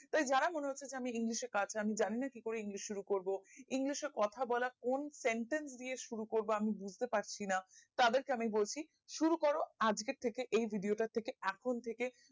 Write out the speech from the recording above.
এই যারা মনে হচ্ছে যে আমি english এ কাজ আমি জানি না কিকরে english শুরু করবো english এ কথা বলা কোন sentence দিয়ে শুরু করবো এই বুজতে পারছি না তাদের কে আমি বলছি শুরু করো আজকে থাকে এই video টার থেকে এখন থেকে